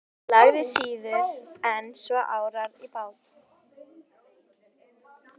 Ég lagði síður en svo árar í bát.